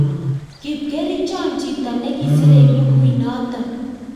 kipkerichon chito ne kiserei bukuit nito